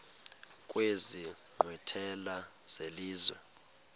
kwezi nkqwithela zelizwe